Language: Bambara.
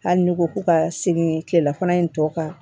Hali n'i ko k'u ka segin kilela fana in tɔ kan